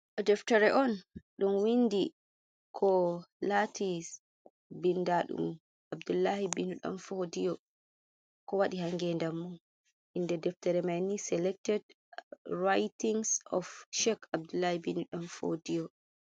Ɗo deftere on ɗum windi, ko lati bindaɗum abdullahi bin ɗan fodiyo ko waɗi ha ngedammum. Inde deftere may ni seelected writings of chek abdullahi bin ɗan fodiyo.